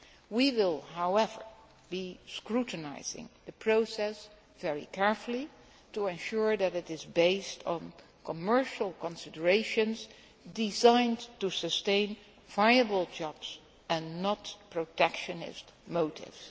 We will, however, be scrutinising the process very carefully to ensure that it is based on commercial considerations designed to sustain viable jobs and not protectionist motives.